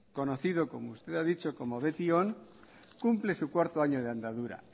conocido como usted ha dicho como betion cumple su cuarto año de andadura